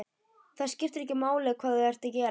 Það skiptir ekki máli hvað þú ert að gera.